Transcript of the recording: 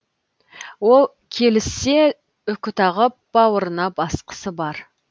ол келіссе үкі тағып бауырына басқысы бар